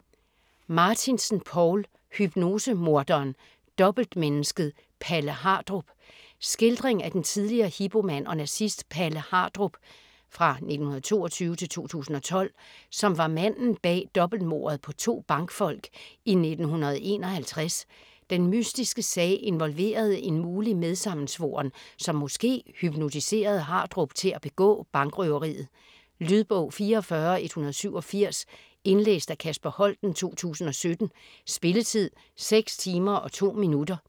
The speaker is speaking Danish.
Martinsen, Poul: Hypnosemorderen - dobbeltmennesket Palle Hardrup Skildring af den tidligere Hipo-mand og nazist Palle Hardrup (1922-2012), som var manden bag dobbeltmordet på to bankfolk i 1951. Den mystiske sag involverede en mulig medsammensvoren, som måske hypnotiserede Hardrup til at begå bankrøveriet. Lydbog 44187 Indlæst af Kasper Holten, 2017. Spilletid: 6 timer, 2 minutter.